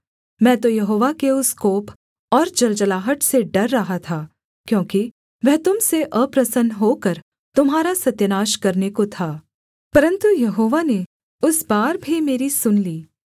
मैं तो यहोवा के उस कोप और जलजलाहट से डर रहा था क्योंकि वह तुम से अप्रसन्न होकर तुम्हारा सत्यानाश करने को था परन्तु यहोवा ने उस बार भी मेरी सुन ली